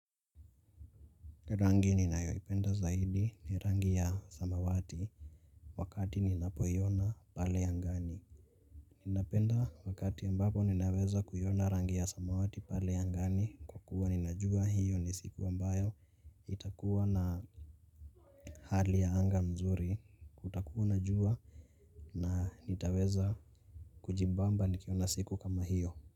Rangi ninayoipenda zaidi ni rangi ya samawati wakati ninapoiona pale ya angani ninapenda wakati ambapo ninaweza kuiona rangi ya samawati pale angani, kwa kuwa ninajua hiyo ni siku ambayo itakua na hali ya anga mzuri kutakuwa na jua na nitaweza kujibamba nikiona siku kama hiyo.